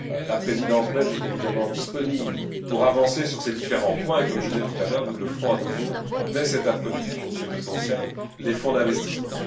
La Présidence belge est évidemment disponible pour avancer sur ces différents points et, comme je l'ai dit tout à l'heure, nous le ferons à nouveau dès cet après midi pour ce qui concerne les fonds d'investissement.